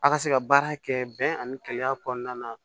A ka se ka baara kɛ bɛn ani keleya kɔnɔna na